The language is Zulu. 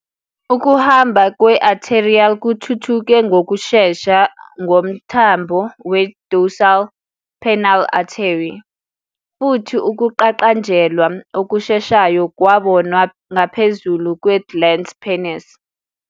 Ukuhamba kwe-arterial kuthuthuke ngokushesha ngomthambo we-dorsal penile artery, futhi ukuqaqanjelwa okusheshayo kwabonwa ngaphezul kwe-glans penis.